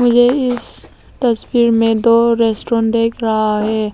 मुझे इस तस्वीर में दो रेस्टोरेंट देख रहा है